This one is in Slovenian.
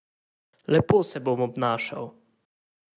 Lepo se bom obnašal.